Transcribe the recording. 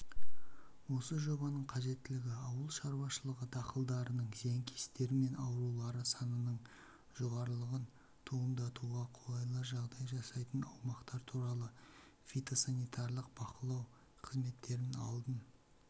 осы жобаның қажеттілігі ауыл шаруашылығы дақылдарының зиянкестері мен аурулары санының жоғарылығын туындатуға қолайлы жағдай жасайтын аумақтар туралы фитосанитарлық бақылау қызметтерін алдын